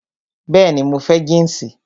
Bẹẹni, mo fẹ́ jínsì